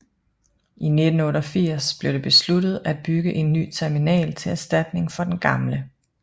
I 1988 blev det besluttet af bygge en ny terminal til erstatning for den gamle